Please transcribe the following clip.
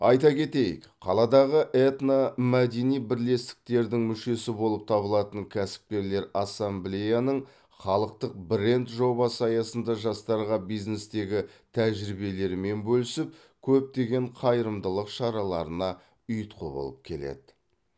айта кетейік қаладағы этномәдени бірлестіктердің мүшесі болып табылатын кәсіпкерлер ассамблеяның халықтық бренд жобасы аясында жастарға бизнестегі тәжірибелерімен бөлісіп көптеген қайырымдылық шараларына ұйытқы болып келеді